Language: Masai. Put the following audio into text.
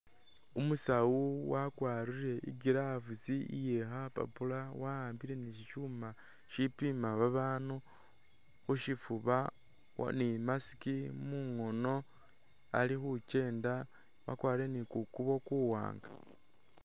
Umusaawa wakwarire i'glove iye khapapula waambile be shishuuma ishipiima abandu khushifuuba ne imask mungono ali khukyenda wakwarire ne kukuubo kuwaanga